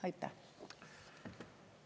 Aitäh!